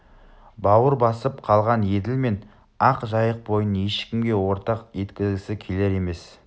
бауыр басып қалған еділ мен ақ жайық бойын ешкімге ортақ еткізгісі келер емес